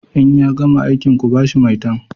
In ya gama aikin ku ba shi maitan!